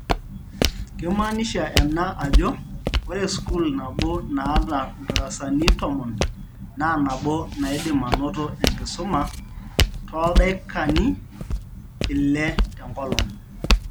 Keimaanisha ena ajo, ore sukuul nabio naata ndarsani tomon, naa nabo naidim anoto enakisuma tooldaikani ile tenkolong.